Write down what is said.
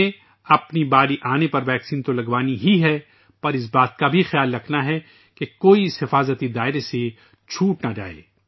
ہمیں اپنی باری آنے پر ویکسین تو لگوانی ہی ہے ، لیکن ہمیں یہ بھی خیال رکھنا ہے کہ کوئی اس حفاظتی دائرے سے باہر نہ رہ جائے